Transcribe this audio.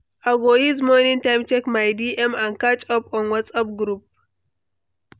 I go use morning time check my DMs and catch up on WhatsApp groups.